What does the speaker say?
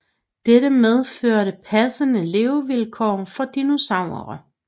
Dette medførte passende levevilkår for dinosaurer